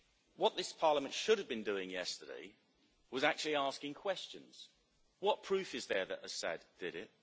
What this Parliament should have been doing yesterday was actually asking questions What proof is there that Assad did it?',